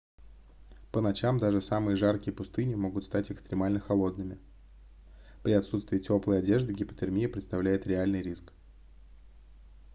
по ночам даже самые жаркие пустыни могут стать экстремально холодными при отсутствии тёплой одежды гипотермия представляет реальный риск